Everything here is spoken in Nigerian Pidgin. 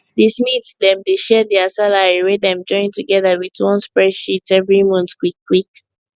di smiths dem dey share dia salary wey dem join togeda wit one spreadsheet every month quick quick